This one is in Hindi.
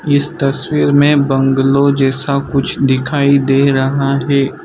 इस तस्वीर में बंगलो जैसा कुछ दिखाई दे रहा है।